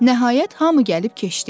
Nəhayət hamı gəlib keçdi.